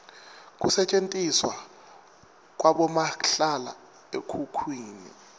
kusetjentiswa kwabomahlala ekhukhwini